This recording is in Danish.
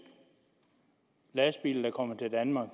lastbiler der kommer til danmark